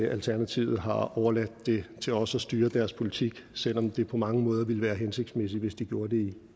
alternativet har overladt det til os at styre deres politik selv om det på mange måder ville være hensigtsmæssigt hvis de gjorde det